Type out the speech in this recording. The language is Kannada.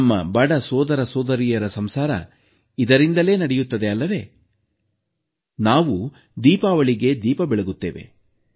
ನಮ್ಮ ಬಡ ಸೋದರಸೋದರಿಯರ ಸಂಸಾರ ಇದರಿಂದಲೇ ನಡೆಯುತ್ತದೆ ಅಲ್ಲವೇ ನಾವು ದೀಪಾವಳಿಗೆ ದೀಪ ಬೆಳಗುತ್ತೇವೆ